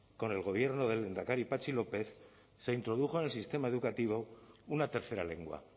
con el gobierno del lehendakari patxi lópez se introdujo en el sistema educativo una tercera lengua